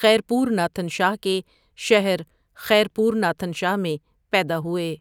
خیرپور ناتھن شاہ کے شہر خیرپور ناتھن شاہ میں پیدا ہوئے۔